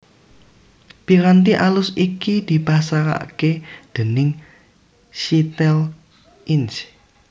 Piranti alus iki dipasaraké déning Cytel Inc